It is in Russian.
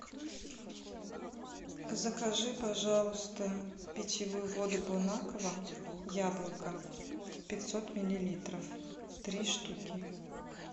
закажи пожалуйста питьевую воду бонаква яблоко пятьсот миллилитров три штуки